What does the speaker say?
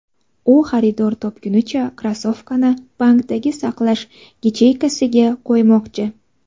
U xaridor topgunicha, krossovkani bankdagi saqlash yacheykasiga qo‘ymoqchi.